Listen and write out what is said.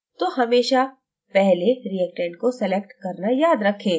तो हमेशा पहले reactants को select करना याद रखें